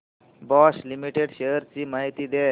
Bosch limited shares ची माहिती द्या